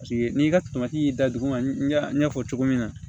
Paseke n'i ka y'i da duguma ɲɛfɔ cogo min na